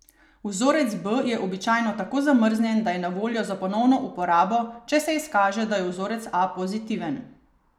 Vzorec B je običajno takoj zamrznjen, da je na voljo za ponovno uporabo, če se izkaže, da je vzorec A pozitiven.